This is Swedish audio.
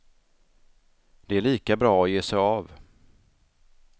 Det är lika bra att ge sig av.